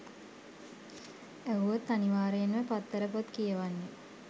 ඇහුවොත් අනිවාර්යෙන්ම පත්තර පොත් කියවන්නෙ